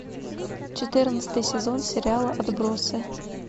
четырнадцатый сезон сериала отбросы